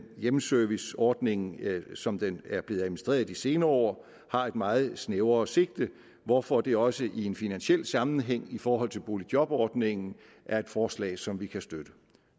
hjemmeserviceordningen som den er blevet administreret i de senere år har et meget snævrere sigte hvorfor dette også i en finansiel sammenhæng i forhold til boligjobordningen er et forslag som vi kan støtte